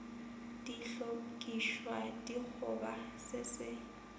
di hlokišwa dikgoba se se